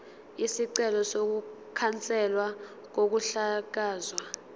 isicelo sokukhanselwa kokuhlakazwa